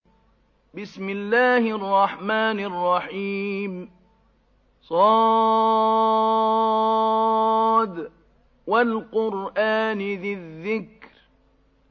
ص ۚ وَالْقُرْآنِ ذِي الذِّكْرِ